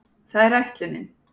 Það er ætlunin.